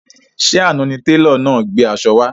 Ṣé àna ni télọ̀ náà gbé aṣọ wá?